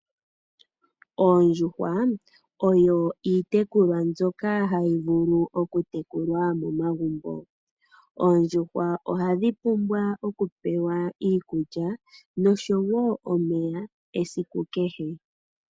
Oondjuhwa oyo iitekulwa mbyoka hayi vulu oku tekulwa momagumbo. Oondjuhwa ohadhi pumbwa oku pewa iikukya noshowo omeya esiku kehe.